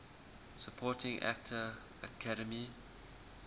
supporting actor academy